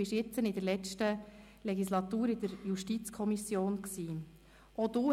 Während der letzten Legislatur warst du Mitglied der JuKo.